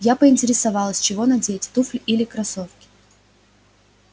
я поинтересовалась чего надеть туфли или кроссовки